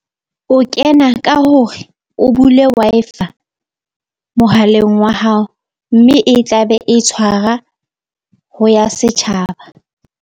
O kena ka hore o bule Wi-Fi-a mohaleng wa hao, mme e tla be e tshwara ho ya setjhaba.